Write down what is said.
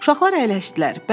Uşaqlar əyləşdilər.